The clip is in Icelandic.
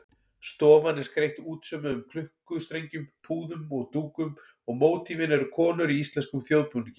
Stofan er skreytt útsaumuðum klukkustrengjum, púðum og dúkum og mótífin eru konur í íslenskum þjóðbúningi.